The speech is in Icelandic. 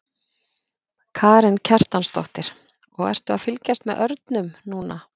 Karen Kjartansdóttir: Og ertu að fylgjast með örnum núna?